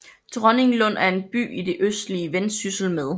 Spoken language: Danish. Dronninglund er en by i det østlige Vendsyssel med